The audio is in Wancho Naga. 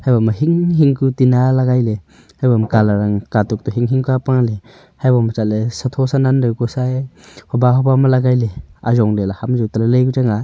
haibo ma hing hing ku teena lagai le haibo ma colour ang katuk to hing hing kua paale hai boma chatle satho sanaan dau ku sa e hoba hoba ma lagai le ajong le la ham jau talai lai ku changa.